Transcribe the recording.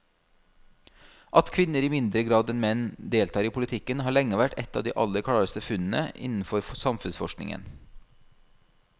At kvinner i mindre grad enn menn deltar i politikken har lenge vært et av de aller klareste funnene innenfor samfunnsforskningen.